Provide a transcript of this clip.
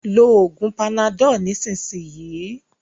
ló oògùn Panadol nisisiyi!